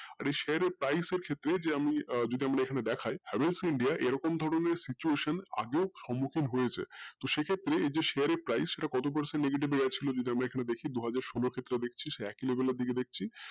আর ওই share এর price হচ্ছে যে আমি আহ আমরা যদি দেখাই havel india এরোক ধরণের situation আগেও সম্মুখীন হয়েছে তো সেই ক্ষেত্রে এই যে share এর price সেটা কত negative যদি সেটা আমরা দেখি দুহাজার সোলো ক্ষেত্রে দেখছি সেই একই level এর